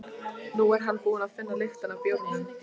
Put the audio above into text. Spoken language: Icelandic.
Nú er hann búinn að finna lyktina af bjórnum.